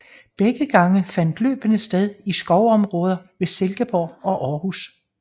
Begge gange fandt løbene sted i skovområder ved Silkeborg og Århus